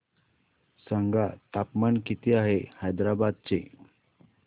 सांगा तापमान किती आहे हैदराबाद चे